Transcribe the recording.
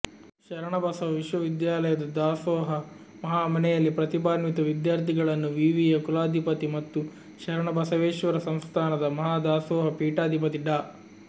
ಶರಣಬಸವ ವಿಶ್ವವಿದ್ಯಾಲಯದ ದಾಸೋಹ ಮಹಾಮನೆಯಲ್ಲಿ ಪ್ರತಿಭಾನ್ವಿತ ವಿದ್ಯಾರ್ಥಿಗಳನ್ನು ವಿವಿಯ ಕುಲಾಧಿಪತಿ ಮತ್ತು ಶರಣಬಸವೇಶ್ವರ ಸಂಸ್ಥಾನದ ಮಹಾದಾಸೋಹ ಪೀಠಾಧಿಪತಿ ಡಾ